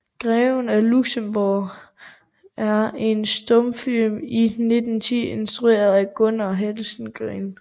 Greven af Luxemburg er en stumfilm fra 1910 instrueret af Gunnar Helsengreen